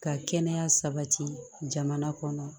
Ka kɛnɛya sabati jamana kɔnɔ